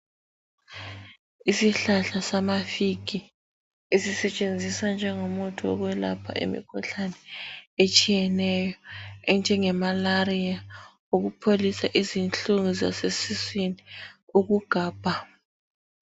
Isihlahla samafigi sisetshenziswa njengomuthi wokwelapha imikhuhlane etshiyeneyo enjenge malaria, ukupholisa izinhlungu zasesiswini ukugabha